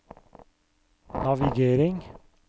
navigering